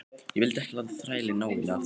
Ég vildi ekki láta þrælinn ná í mig aftur.